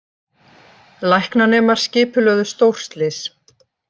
Læknanemar skipulögðu stórslys